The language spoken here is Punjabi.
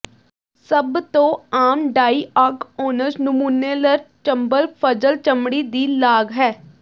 ਸਭ ਤੋਂ ਆਮ ਡਾਇਆਗਔਨਜ਼ ਨਮੂਨੇਲਰ ਚੰਬਲ ਫਜ਼ਲ ਚਮੜੀ ਦੀ ਲਾਗ ਹੈ